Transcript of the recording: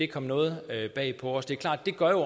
kom noget bag på os det er klart at det gør